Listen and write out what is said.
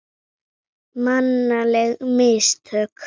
Mannleg mistök?